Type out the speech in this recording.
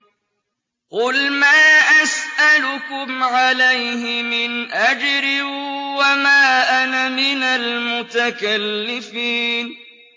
قُلْ مَا أَسْأَلُكُمْ عَلَيْهِ مِنْ أَجْرٍ وَمَا أَنَا مِنَ الْمُتَكَلِّفِينَ